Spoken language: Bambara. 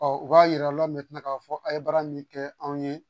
u b'a jira aw la k'a fɔ aw ye baara min kɛ anw ye